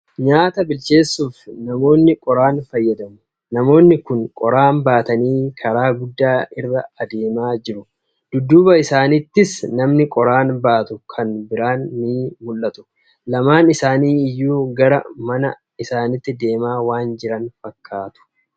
Nyaata bilcheessuuf namni qoraan fayyadama. Namni kun qoraan baatanii karaa guddaa irra deemaa jiru. Dudduuba isaaniittis namni qoraan baatu kan biraan ni mul'atu. Lamaan isaanii iyyuu gara mana isaanitti deemaa waan jiran fakkaatu.